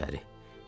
Gəlin içəri.